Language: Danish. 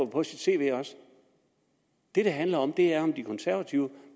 på sit cv det det handler om er om de konservative